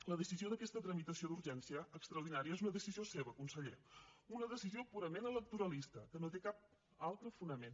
la decisió d’aquesta tramitació d’urgència extraordinària és una decisió seva conseller una decisió purament electoralista que no té cap altre fonament